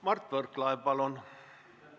Mart Võrklaev, palun!